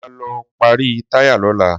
Sọ ma lọ pàrọ̀ táyà lọ́la?